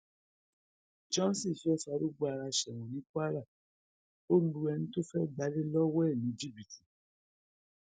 johnson fẹẹ farúgbó ara sẹwọn ní kwara ó lu ẹni tó fẹẹ gbalẹ lọwọ ẹ ní jìbìtì